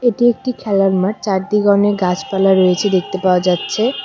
এটি একটি খেলার মাঠ চারদিগে অনেক গাছপালা রয়েছে দেখতে পাওয়া যাচ্ছে।